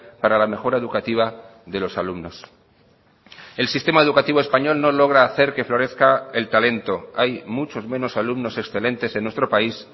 para la mejora educativa de los alumnos el sistema educativo español no logra hacer que florezca el talento hay muchos menos alumnos excelentes en nuestro país